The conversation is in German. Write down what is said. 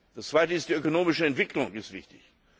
Das Zweite ist die ökonomische Entwicklung, die ist wichtig.